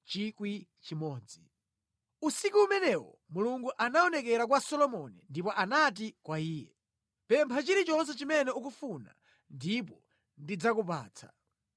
Usiku umenewo Mulungu anaonekera kwa Solomoni ndipo anati kwa iye, “Pempha chilichonse chimene ukufuna ndipo ndidzakupatsa.”